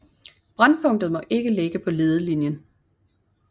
Brændpunktet må ikke ligge på ledelinjen